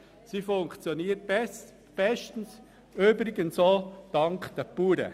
Sie funktioniert bestens, übrigens auch dank den Bauern.